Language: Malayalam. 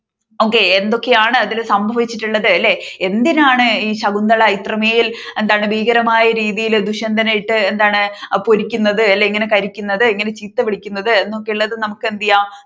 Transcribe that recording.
okay എന്തൊക്കെ ആണ് ഇതിൽ സംഭവിച്ചിട്ടുള്ളത് അല്ലേ എന്തിനാണ് ഈ ശകുന്തള ഇത്രമേൽ എന്താണ് ഭീകരമായ രീതിയിൽ ദുഷ്യന്തയിട്ട് പൊരിക്കുന്നത്ല്ല്ലേ കരിക്കുന്നത് എങ്ങനെ ചീത്ത വിളിക്കുന്നത് എന്നൊക്കെ